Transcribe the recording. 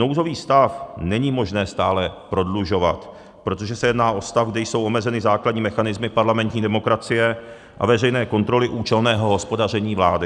Nouzový stav není možné stále prodlužovat, protože se jedná o stav, kdy jsou omezeny základní mechanismy parlamentní demokracie a veřejné kontroly účelného hospodaření vlády.